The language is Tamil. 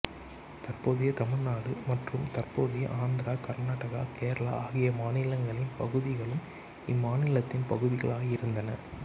தற்போதைய தமிழ் நாடு மற்றும் தற்போதைய ஆந்திரா கர்நாடகா கேரளா ஆகிய மாநிலங்களின் பகுதிகளும் இம்மாநிலத்தின் பகுதிகளாயிருந்தன